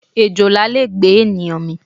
Èjòlá le gbé ènìyàn mì.